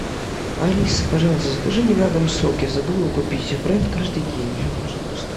алиса пожалуйста закажи мне на дом сок я забыл его купить бренд каждый день пожалуйста